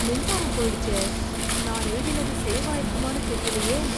மின்சாரம் போயிடுச்சே! நான் எழுதினது சேவ் ஆகியிருக்குமான்னு தெரியலையே!